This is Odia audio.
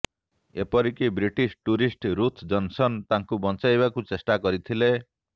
ଏପରି କି ବ୍ରିଟିଶ୍ ଟୁରିଷ୍ଟ୍ ରୁଥ୍ ଜନସନ୍ ତାଙ୍କୁ ବଞ୍ଚାଇବାକୁ ଚେଷ୍ଟା କରିଥିଲେ